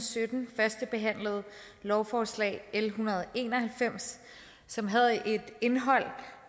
og sytten førstebehandlede lovforslag l en hundrede og en og halvfems som havde et indhold